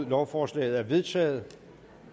lovforslaget er vedtaget